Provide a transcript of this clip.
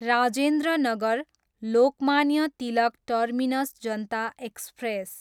Rajendra Nagar, Lokmanya Tilak terminus Janata express